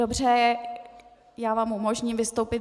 Dobře, já vám umožním vystoupit.